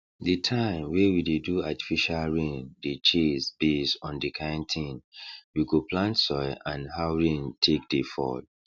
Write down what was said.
the time wey we dey do artificial rain dey chase base on the kind thing we go plant soil and how rain take dey fall